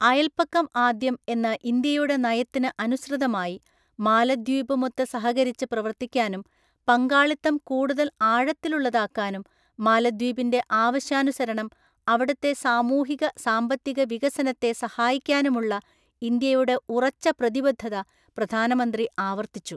അയല്‍പക്കം ആദ്യം എന്ന ഇന്ത്യയുടെ നയത്തിന് അനുസൃതമായി മാലദ്വീപുമൊത്ത് സഹകരിച്ച് പ്രവര്ത്തിക്കാനും, പങ്കാളിത്തം കൂടുതല്‍ ആഴത്തിലുള്ളതാക്കാനും, മാലദ്വീപിന്റെ ആവശ്യാനുസരണം അവിടത്തെ സാമൂഹിക, സാമ്പത്തിക വികസനത്തെ സഹായിക്കാനുമുള്ള ഇന്ത്യയുടെ ഉറച്ച പ്രതിബദ്ധത പ്രധാനമന്ത്രി ആവര്ത്തിച്ചു.